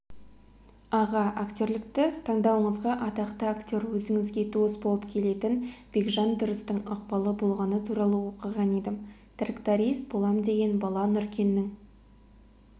аға актерлікті таңдауыңызға атақты актер өзіңізге туыс болып келетін бекжан тұрыстың ықпалы болғаны туралы оқыған едім тракторист болам деген бала нұркеннің